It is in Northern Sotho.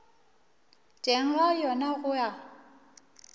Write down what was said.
teng ga yona go a